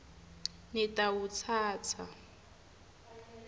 nitawutsatsa